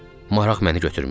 Maraq məni götürmüşdü.